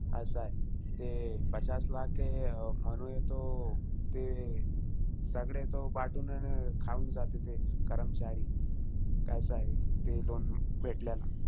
असंय. ते पचास लाख हे तो, ते सगळे तो बाटून अन, खाऊन जाते ते कर्मचारी. असंय ते loan भेटल्यान.